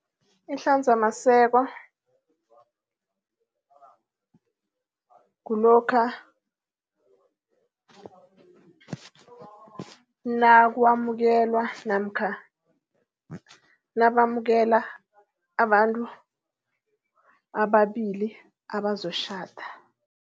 Ihlanzamaseko, kulokha nakwamukelwa namkha nabamukela abantu ababili abazotjhada.